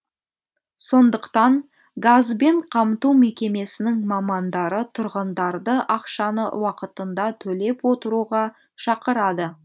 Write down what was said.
сондықтан газбен қамту мекемесінің мамандары тұрғындарды ақшаны уақытында төлеп отыруға шақырады